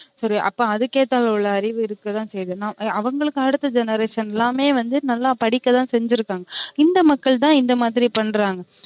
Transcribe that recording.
சரி அப்ப அதுக்கு ஏத்த அளவுல அறிவு இருக்கதான் செய்யுது அவுங்களுக்கு அடுத்த generation எல்லாமே வந்து நல்லா படிக்கதான் செஞ்சிருக்காங்க இந்த மக்கள் தான் இந்த மாரி பன்றாங்க